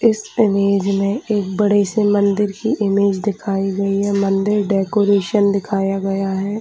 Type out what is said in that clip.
इस इमेज में एक बड़े से मंदिर की इमेज दिखाई गयी है मंदिर डेकोरेशन दिखाया गया है ।